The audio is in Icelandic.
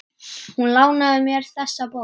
Hún lánaði mér þessa bók.